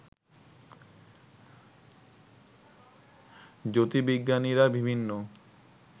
জ্যোতির্বিজ্ঞানীরা বিভিন্ন